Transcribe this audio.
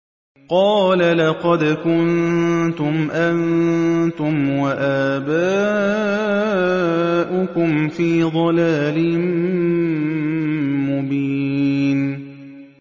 قَالَ لَقَدْ كُنتُمْ أَنتُمْ وَآبَاؤُكُمْ فِي ضَلَالٍ مُّبِينٍ